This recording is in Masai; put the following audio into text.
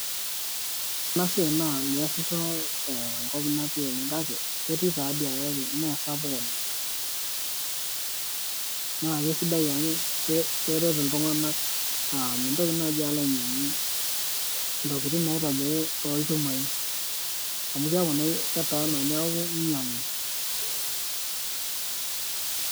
Ore ena siaai naa meesisho tenkop natii oleng natii kake ketii taadoi kake meisapuk oleng naa keisidai amu keret iltunganak aaa mintoki naaji alo ainyiang'u intokitin naitobiri toolchumai ame keeku naa ketaana neeku inyiang'u .